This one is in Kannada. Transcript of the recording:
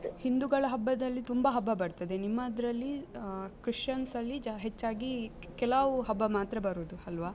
ಹಿಂದೂಗಳ ಹಬ್ಬದಲ್ಲಿ ತುಂಬ ಹಬ್ಬ ಬರ್ತದೆ, ನಿಮ್ಮದ್ರಲ್ಲಿ ಆ ಕ್ರಿಶ್ಚಿಯನ್ಸ್ ಅಲ್ಲಿ ಹೆಚ್ಚಾಗಿ ಕೆಲಾವು ಹಬ್ಬ ಮಾತ್ರ ಬರುವುದು ಅಲ್ವಾ?